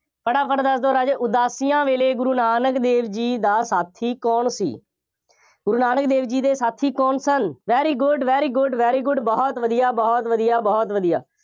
ਫਟਾਫਟ ਦੱਸ ਦਿਓ ਰਾਜੇ, ਉਦਾਸੀਆਂ ਵੇਲੇ ਗੁਰੂ ਨਾਨਕ ਦੇਵ ਜੀ ਦਾ ਸਾਥੀ ਕੌਣ ਸੀ? ਗੁਰੂ ਨਾਨਕ ਦੇਵ ਜੀ ਦੇ ਸਾਥੀ ਕੌਣ ਸਨ? very good, very good, very good ਬਹੁਤ ਵਧੀਆ, ਬਹੁਤ ਵਧੀਆ, ਬਹੁਤ ਵਧੀਆ।